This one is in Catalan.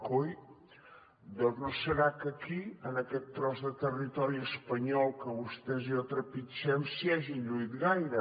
coi doncs no és que aquí en aquest tros de territori espanyol que vostès i jo trepitgem s’hi hagin lluït gaire